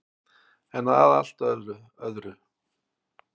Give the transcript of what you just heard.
En að allt öðru.